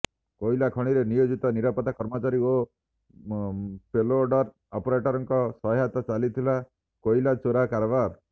କୋଇଲା ଖଣିରେ ନିୟୋଜିତ ନିରାପତ୍ତା କର୍ମଚାରୀ ଓ ପେଲୋଡର ଅପରେଟରଙ୍କ ସହାୟତାରେ ଚାଲିଥିଲା କୋଇଲା ଚୋରା କାରବାର